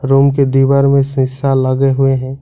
Room के दीवार में शिशा लगे हुए हैं।